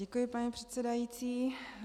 Děkuji paní předsedající.